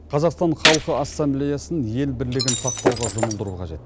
қазақстан халқы ассамблеясын ел бірлігін сақтауға жұмылдыру қажет